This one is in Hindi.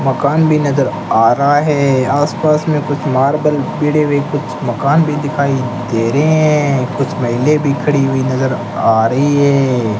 मकान भी नजर आ रहा है आस पास में कुछ मार्बल भिड़े हुए कुछ मकान भी दिखाई दे रहे हैं कुछ महिले भी खड़ी हुई नजर आ रही है।